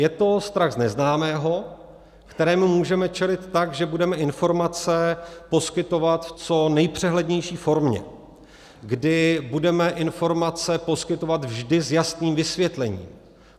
Je to strach z neznámého, kterému můžeme čelit tak, že budeme informace poskytovat v co nejpřehlednější formě, kdy budeme informace poskytovat vždy s jasným vysvětlením.